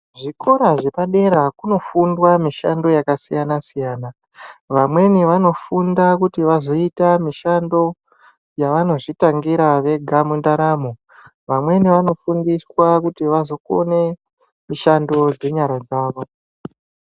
Zvikora zvepadera kunofundwa mishando yakasiyana siyana vamweni vanofunda kuti vazoita mishando yavanozvitangira vega mundaramo vamweni vanofundiswa kuti vazokone mishando dzenyara dzavo .